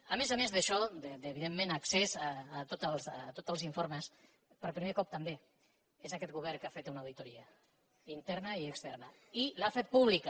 a més a més d’això d’evidentment accés a tots el informes per primer cop també és aquest govern que ha fet una auditoria interna i externa i l’ha fet pública